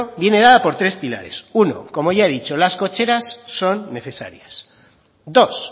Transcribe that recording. viene dada por tres pilares uno como ya he dicho las cocheras son necesarias dos